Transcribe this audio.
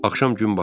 Axşam gün batanda.